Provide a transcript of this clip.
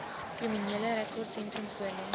kriminele rekordsentrum voorlê